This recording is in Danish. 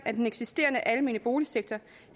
at den eksisterende almene boligsektor